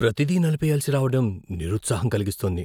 ప్రతిదీ నిలిపెయ్యాల్సి రావడం నిరుత్సాహం కలిగిస్తోంది.